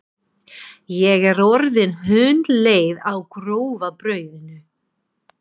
Ég er orðin hundleið á grófa brauðinu!